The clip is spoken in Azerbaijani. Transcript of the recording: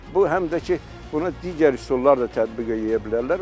Bu həm də ki, buna digər üsullar da tətbiq eləyə bilərlər.